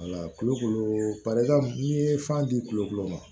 wala kulukoro barika n'i ye fan di kulokolo ma